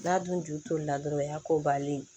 N'a dun ju tolila dɔrɔn o y'a ko bannen ye